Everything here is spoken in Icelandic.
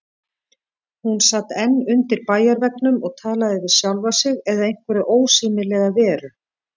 Hún sat enn undir bæjarveggnum og talaði við sjálfa sig eða einhverja ósýnilega veru.